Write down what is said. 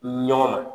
Ɲɔgɔn na